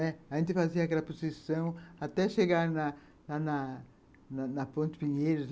A gente fazia aquela posição até chegar na na na Ponte Pinheiros.